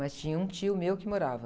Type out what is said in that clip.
Mas tinha um tio meu que morava.